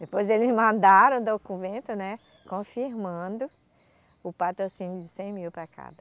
Depois eles mandaram o documento, né, confirmando o patrocínio de cem mil para cada.